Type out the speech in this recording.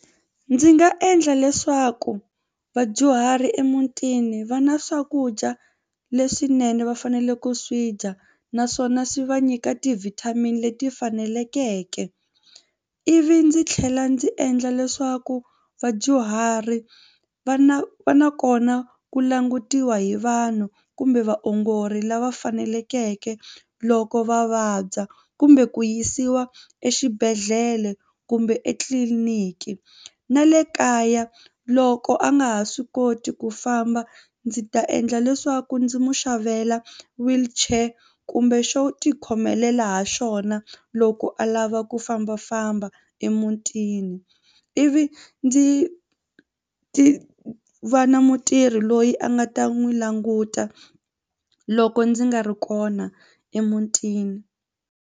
Ndzi nga endla leswaku vadyuhari emutini va na swakudya leswinene va fanele ku swi dya naswona swi va nyika ti-vitamin leti faneleke ivi ndzi tlhela ndzi endla leswaku vadyuhari va na va na kona ku langutiwa hi vanhu kumbe vaongori lava fanelekeke loko va vabya kumbe ku yisiwa exibedhlele kumbe etitliliniki na le kaya loko a nga ha swi koti ku famba ndzi ta endla leswaku ndzi mu xavela wheelchair kumbe xo tikhomelela ha xona u loko a lava ku fambafamba emutini ivi ndzi ti va na mutirhi loyi a nga ta n'wi languta loko ndzi nga ri kona emutini.